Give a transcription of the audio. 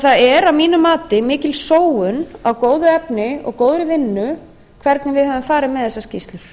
það er að mínu mati mikil sóun á góðu efni og góðri ein hvernig við höfum farið með þessar skýrslur